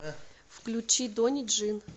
включи дони джин